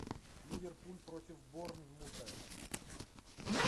ливерпуль против борнмута